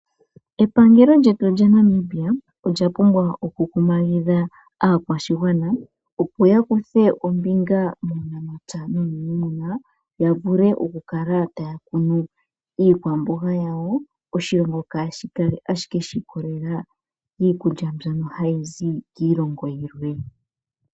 Epangelo lyetu lyaNamibia olya pumbwa okukumahidha aakwashigwana yakuthe ombinga muunamapya nuunima niku kuna iikwamboga yawo oshilongo kashi kale ashike shi ikolelela kiikulya mbyono hayi zi kiilongo yilwe.